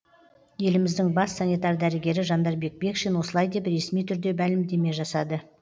еліміздің бас санитар дәрігері жандарбек бекшин осылай деп ресми түрде мәлімдеме жасады